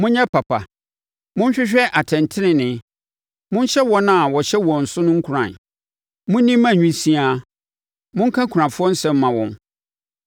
Monyɛ papa; monhwehwɛ atɛntenenee Monhyɛ wɔn a wɔhyɛ wɔn so nkuran. Monni mma nwisiaa, monka akunafoɔ nsɛm mma wɔn.